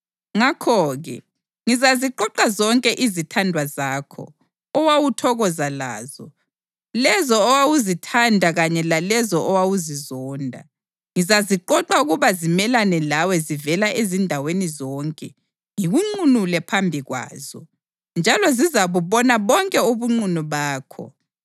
ngakho-ke ngizaziqoqa zonke izithandwa zakho, owawuthokoza lazo, lezo owawuzithanda kanye lalezo owawuzizonda. Ngizaziqoqa ukuba zimelane lawe zivela ezindaweni zonke ngikunqunule phambi kwazo, njalo zizabubona bonke ubunqunu bakho.